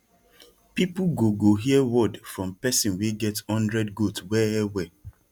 people go go hear word from person wey get hundred goat wellwell